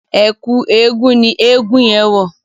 Ẹ̀kú eégun ni eégun yẹn wọ̀.